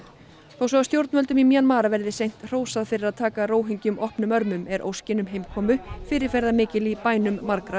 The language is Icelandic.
þó svo að stjórnvöldum í Mjanmar verði seint hrósað fyrir að taka Róhingjum opnum örmum er óskin um heimkomu fyrirferðarmikil í bænum margra